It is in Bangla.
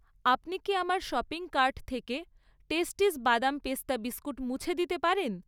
আপনি কি আমার শপিং কার্ট থেকে টেস্টিস বাদাম পেস্তা বিস্কুট মুছে দিতে পারেন?